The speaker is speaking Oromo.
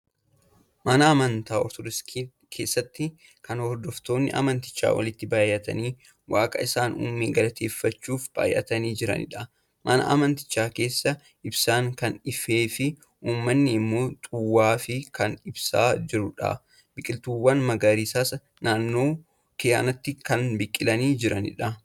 Mana amantaa Ortoodoksii keessatti kan hordoftoonni amantichaa walitti baay'atanii waaqa isaan uume galateeffachuuf baay'atanii jiranidha. Mana amantichaa keessaa ibsaan kan ifeefi uummanni immoo xuwaafii kan ibsaa jirudha. Biqiltuuwwan magariisaas naannoo kanattii kan biqilanii jiranidha.